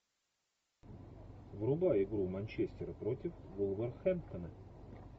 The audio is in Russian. врубай игру манчестера против вулверхэмптона